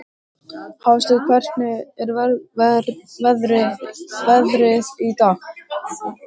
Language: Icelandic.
Hafsteinn, hvernig er veðrið í dag?